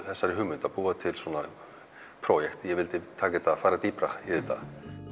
þessari hugmynd að búa til svona projekt ég vildi fara dýpra í þetta